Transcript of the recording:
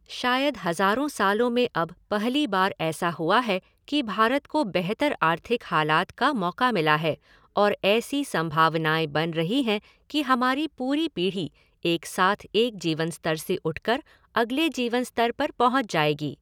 शायद हजारों सालों में अब पहली बार ऐसा हुआ है कि भारत को बेहतर आर्थिक हालात का मौका मिला है और ऐसी संभावनाए बन रही हैं कि हमारी पूरी पीढ़ी एक साथ एक जीवनस्तर से उठकर अगले जीवनस्तर पर पहुँच जाएगी।